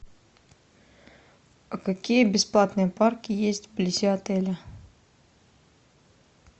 а какие бесплатные парки есть вблизи отеля